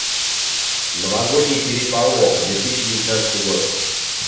новогодний переполох две тысячи девятнадцатый год